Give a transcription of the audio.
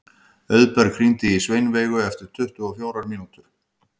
Auðberg, hringdu í Sveinveigu eftir tuttugu og fjórar mínútur.